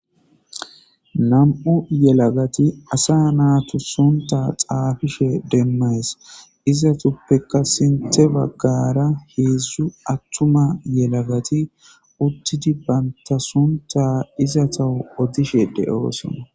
nam7u yelagati asa naatu sonta xaafishe demmays izatuppeka sinthe baggara heedzdzu attuma yelagati uttidi baynta sonta izatahu odishe de7oosona